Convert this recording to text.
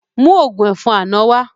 Mú ògún ẹ̀fọn àná wá